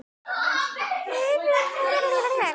Það er stjanað við hana.